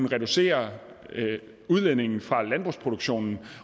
reducere udledningen fra landbrugsproduktionen